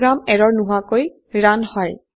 program এৰৰ নোহোৱাকৈ run হয়